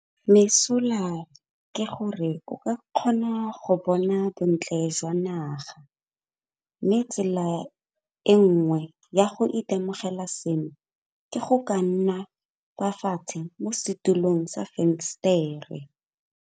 Mesola ke gore o ka kgona go bona bontle jwa naga, mme tsela e nngwe ya go itemogela seno ke go ka nna kwa fatshe mo setulong sa fensetere.